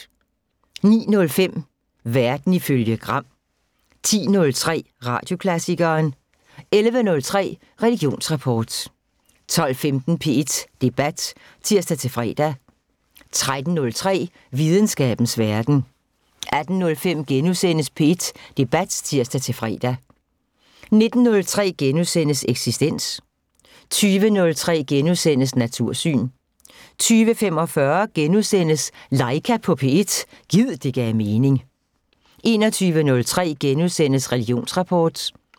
09:05: Verden ifølge Gram 10:03: Radioklassikeren 11:03: Religionsrapport 12:15: P1 Debat (tir-fre) 13:03: Videnskabens Verden 18:05: P1 Debat *(tir-fre) 19:03: Eksistens * 20:03: Natursyn * 20:45: Laika på P1 – gid det gav mening * 21:03: Religionsrapport *